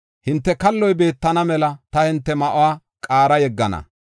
Hinte kalloy bentana mela ta hinte ma7uwa qaara yeggana.